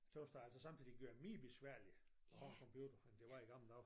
Tøs det altså sådan så de gør mere besværlig at have en computer end det var i gamle dage